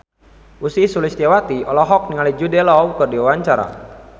Ussy Sulistyawati olohok ningali Jude Law keur diwawancara